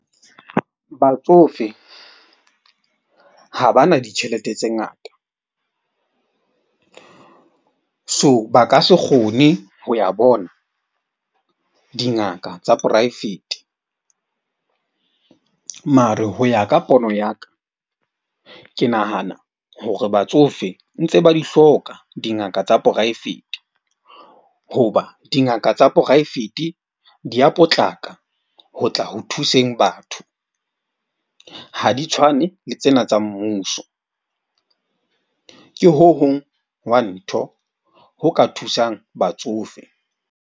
Batsofe ha ba na ditjhelete tse ngata. So, ba ka se kgone ho ya bona dingaka tsa poraefete mare ho ya ka pono ya ka. Ke nahana hore batsofe ntse ba di hloka dingaka tsa poraefete. Hoba dingaka tsa poraefete di ya potlaka ho tla ho thuseng batho. Ha di tshwane le tsena tsa mmuso, ke ho hong wa ntho ho ka thusang batsofe.